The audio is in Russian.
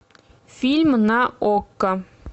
фильм на окко